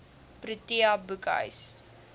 protea boekhuis